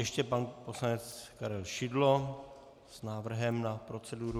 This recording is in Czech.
Ještě pan poslanec Karel Šidlo s návrhem na proceduru.